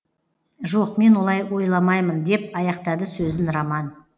жоқ мен олай ойламаймын деп аяқтады сөзін роман